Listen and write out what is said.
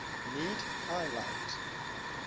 need high light